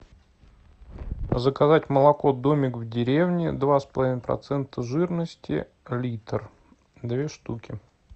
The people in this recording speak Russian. заказать молоко домик в деревне два с половиной процента жирности литр две штуки